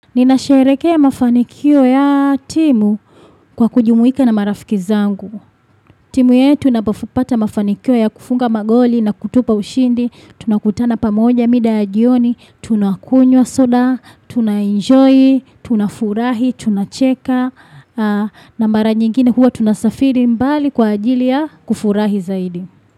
Ninasherekea mafanikio ya timu kwa kujumuika na marafiki zangu. Timu yetu inapo pata mafanikio ya kufunga magoli na kutupa ushindi. Tunakutana pamoja mida ya jioni. Tunakunywa soda, tunaenjoy, tunafurahi, tunacheka. Na mara nyingine huwa tunasafiri mbali kwa ajili ya kufurahi zaidi.